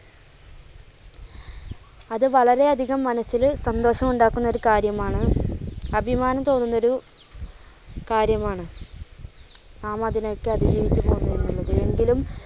അത് വളരെ അധികം മനസ്സില് സന്തോഷം ഉണ്ടാക്കുന്ന ഒരു കാര്യം ആണ്, അഭിമാനം തോന്നുന്ന ഒരു കാര്യം ആണ്. നാം അതിനെ ഒക്കെ അതിജീവിച്ച് പോന്നു എന്ന് ഉള്ളത്.